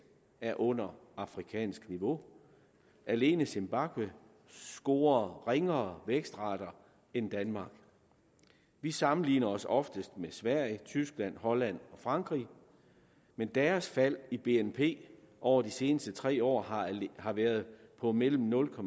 er under afrikansk niveau alene zimbabwe scorer ringere vækstrater end danmark vi sammenligner os oftest med sverige tyskland holland og frankrig men deres fald i bnp over de seneste tre år har været på mellem nul og